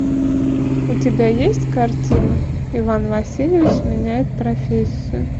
у тебя есть картина иван васильевич меняет профессию